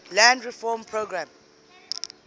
land reform program